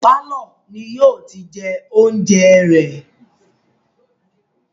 Pálọ̀ ni yìí ó ti jẹ oúnjẹ rẹ̀